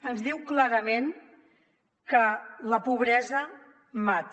ens diu clarament que la pobresa mata